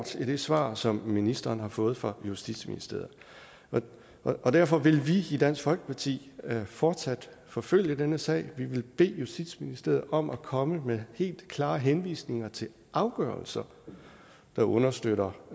i det svar som ministeren har fået fra justitsministeriet derfor vil vi i dansk folkeparti fortsat forfølge denne sag vi vil bede justitsministeriet om at komme med helt klare henvisninger til afgørelser der understøtter